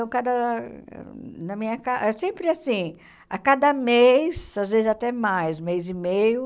Então cada, na minha casa, é sempre assim, a cada mês, às vezes até mais, mês e meio,